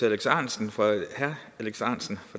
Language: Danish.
alex ahrendtsen fra